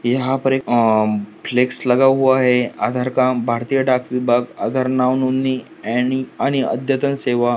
यहां पर अं फ्लेक्स लगा हुआ है आधार का भारतीय डाक विभाग आधार नाव नोंदणी ऍनी आणि अध्यातन सेवा --